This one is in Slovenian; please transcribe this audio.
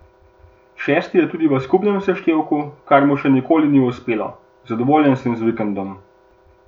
Šesti je tudi v skupnem seštevku, kar mu še nikoli ni uspelo: "Zadovoljen sem z vikendom.